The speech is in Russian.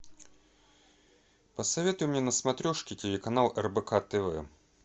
посоветуй мне на смотрешке телеканал рбк тв